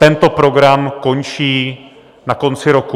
Tento program končí na konci roku.